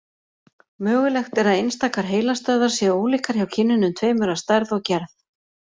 Mögulegt er að einstakar heilastöðvar séu ólíkar hjá kynjunum tveimur að stærð og gerð.